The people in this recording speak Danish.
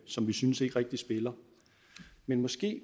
som vi synes ikke rigtig spiller men måske